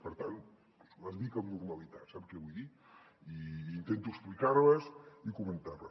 per tant les visc amb normalitat sap què vull dir i intento explicar les i comentar les